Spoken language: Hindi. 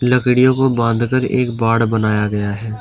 लकडीयों को बांधकर एक बांढ़ बनाया गया है।